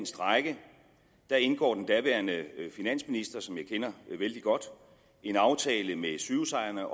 strejke indgår den daværende finansminister som jeg kender vældig godt en aftale med sygehusejerne